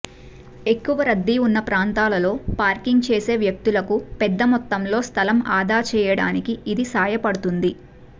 ఎక్కువ రద్దీ ఉన్న ప్రాంతాలలో పార్కింగ్ చేసే వ్యక్తులకు పెద్ద మొత్తంలో స్థలం ఆదా చేయడానికి ఇది సాయపడుతుంది